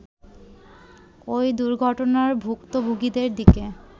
ওই দুর্ঘটনার ভূক্তভোগিদের দিকে